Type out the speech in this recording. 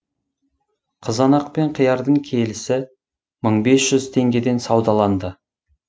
қызанақ пен қиярдың келісі мың бес жүз теңгеден саудаланды